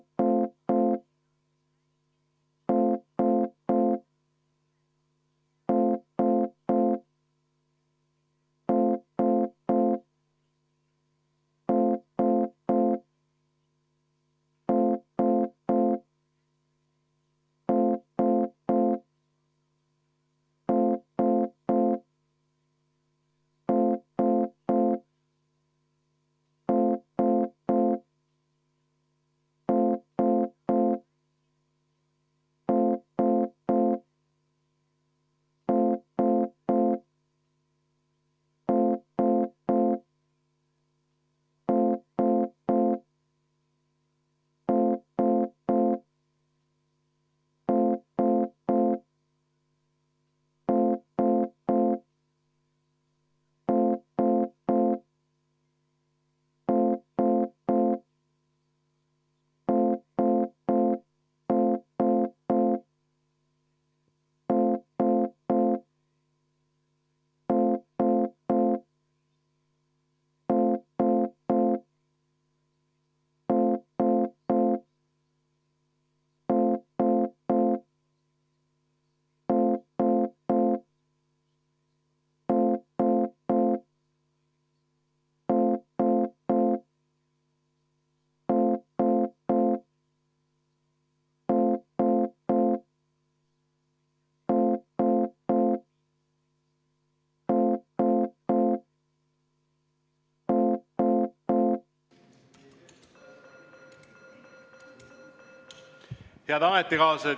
Head ametikaaslased!